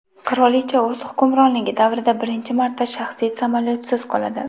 Qirolicha o‘z hukmronligi davrida birinchi marta shaxsiy samolyotsiz qoladi.